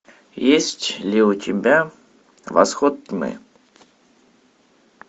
есть ли у тебя восход тьмы